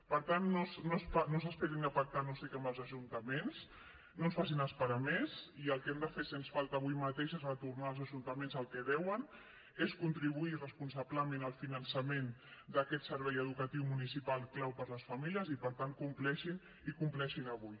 per tant no s’esperin a pactar no sé què amb els ajuntaments no ens facin esperar més i el que hem de fer sens falta avui mateix és retornar als ajuntaments el que deuen és contribuir responsablement al finançament d’aquest servei educatiu municipal clau per les famílies i per tant compleixin i compleixin avui